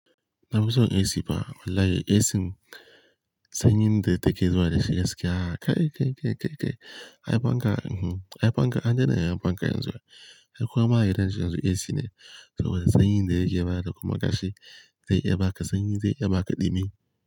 Na muso AC fa. Wallahi AC sanyi da take zuwa da shiga gaskiya kai, kai, kai, kai, kai. Ai panka, ai panka, an daina ya yin panka yanzu ai ai kowa ma gidan su yanzu AC ne. Toh sanyi da yake ba da kuma kashi zai iya ba ka sanyi zai iya ba ka ɗumi.